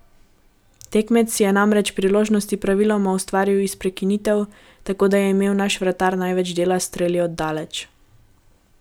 Tekmec si je namreč priložnosti praviloma ustvaril iz prekinitev, tako da je imel naš vratar največ dela s streli od daleč.